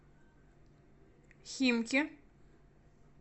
химки